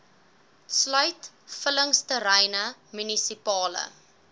sluit vullingsterreine munisipale